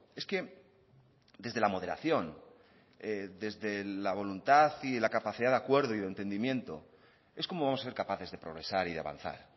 es que desde la moderación desde la voluntad y la capacidad de acuerdo y de entendimiento es como ser capaces de progresar y de avanzar